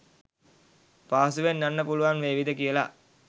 පහසුවෙන් යන්න පුළුවන් වේවිද කියල.